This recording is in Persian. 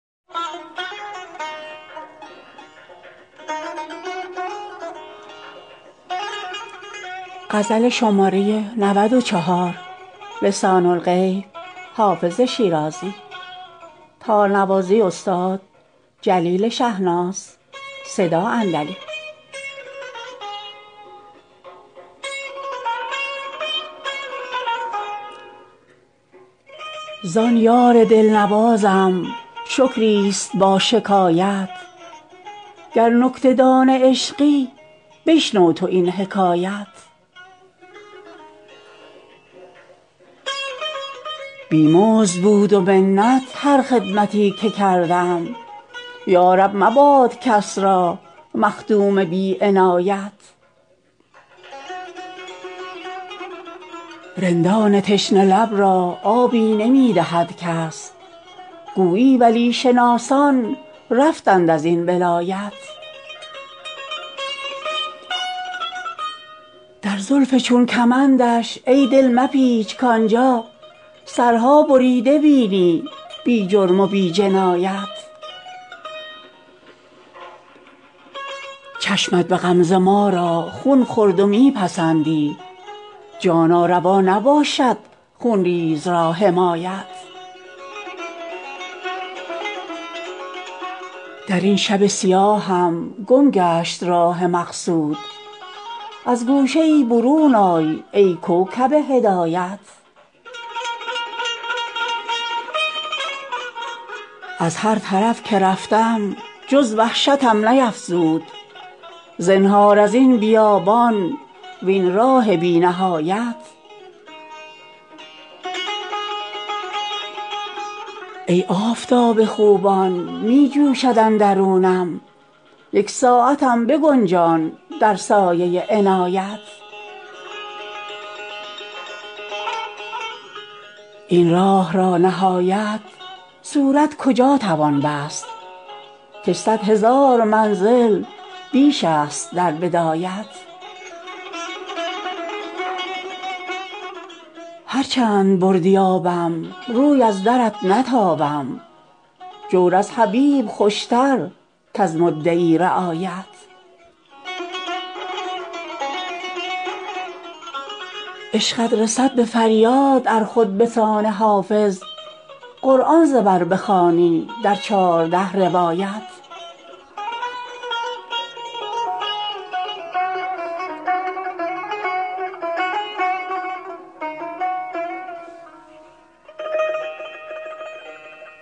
زان یار دل نوازم شکری است با شکایت گر نکته دان عشقی بشنو تو این حکایت بی مزد بود و منت هر خدمتی که کردم یا رب مباد کس را مخدوم بی عنایت رندان تشنه لب را آبی نمی دهد کس گویی ولی شناسان رفتند از این ولایت در زلف چون کمندش ای دل مپیچ کآن جا سرها بریده بینی بی جرم و بی جنایت چشمت به غمزه ما را خون خورد و می پسندی جانا روا نباشد خون ریز را حمایت در این شب سیاهم گم گشت راه مقصود از گوشه ای برون آی ای کوکب هدایت از هر طرف که رفتم جز وحشتم نیفزود زنهار از این بیابان وین راه بی نهایت ای آفتاب خوبان می جوشد اندرونم یک ساعتم بگنجان در سایه عنایت این راه را نهایت صورت کجا توان بست کش صد هزار منزل بیش است در بدایت هر چند بردی آبم روی از درت نتابم جور از حبیب خوش تر کز مدعی رعایت عشقت رسد به فریاد ار خود به سان حافظ قرآن ز بر بخوانی در چارده روایت